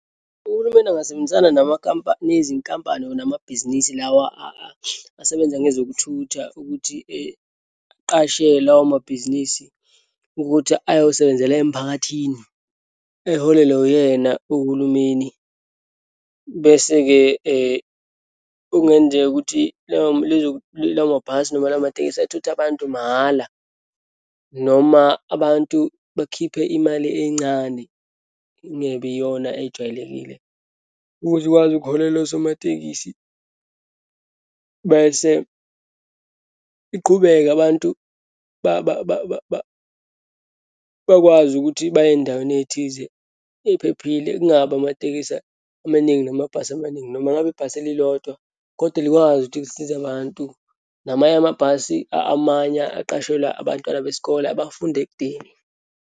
Uhulumeni angasebenzisana nezinkampani or namabhizinisi lawa asebenza ngezokuthutha ukuthi aqashe lawomabhizinisi ukuthi ayosebenzela emphakathini, eholelwe uyena uhulumeni. Bese-ke okungenzeka ukuthi lawo mabhasi noma lawo matekisi athuthe abantu mahala, noma abantu bakhiphe imali encane, ingebe iyona ejwayelekile, ukuze ikwazi ukuholela usomatekisi. Bese iqhubeke, abantu bakwazi ukuthi baye eyindaweni eyithize eyiphephile. Kungabi amatekisi amaningi namabhasi amaningi, noma ngabe ibhasi elilodwa, kodwa likwazi ukuthi lisize abantu. Namanye amabhasi amanye aqashelwa abantwana besikole, abafunda ekudeni.